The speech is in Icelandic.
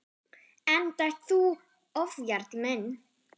Enda ert þú ofjarl minn.